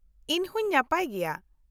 ᱤᱧ ᱦᱚᱸᱧ ᱱᱟᱯᱟᱭ ᱜᱮᱭᱟ ᱾